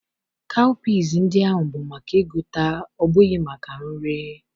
kawụpiz ndị ahụ bụ maka ịgụta ọ bụghị maka nri.